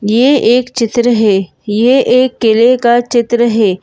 ये एक चित्र है ये एक किले का चित्र है।